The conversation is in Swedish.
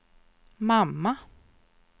mamma